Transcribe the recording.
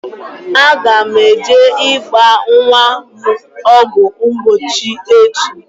Aga m eje ịgba nwa m ọgwụ mgbochi echi